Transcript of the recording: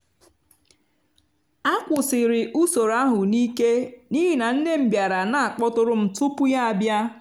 a kwụsịrị usoro ahụ n’ike n’ihi na nne m bịara na akpọtụrụ m tupu ya bịa